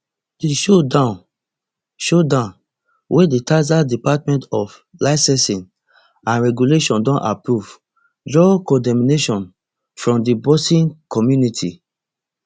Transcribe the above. di showdown showdown wey di texas department of licensing and regulation don approve draw condemnation from di boxing community